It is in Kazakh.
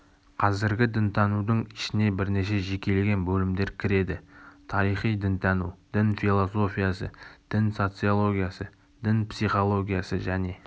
қазіргі дінтанудың ішіне бірнеше жекелеген бөлімдер кіреді тарихи дінтану дін философиясы дін социологиясы дін психологиясы және